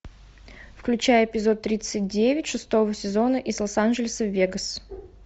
включай эпизод тридцать девять шестого сезона из лос анджелеса в вегас